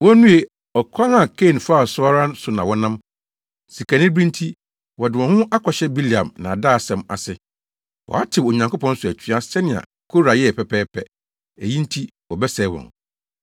Wonnue! Ɔkwan a Kain faa so no ara so na wɔnam. Sikanibere nti, wɔde wɔn ho akɔhyɛ Bileam nnaadaasɛm ase. Wɔatew Onyankopɔn so atua sɛnea Kora yɛe pɛpɛɛpɛ, eyi nti wɔbɛsɛe wɔn.